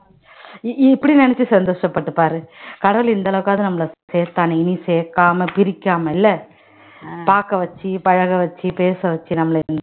இ~ இப்படி நினைச்சு சந்தோஷப்பட்டுப்பாரு கடவுள் இந்த அளவுக்காவது நம்மள சேர்த்தானே இனி சேர்க்காம பிரிக்காம இல்ல பார்க்க வச்சு பழக வச்சு பேச வச்சு நம்மள